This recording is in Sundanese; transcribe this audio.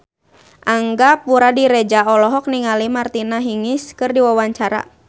Angga Puradiredja olohok ningali Martina Hingis keur diwawancara